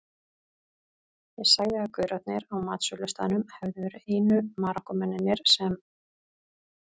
Ég sagði að gaurarnir á matsölustaðnum hefðu verið einu Marokkómennirnir sem